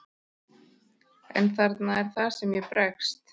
En þarna er það sem ég bregst.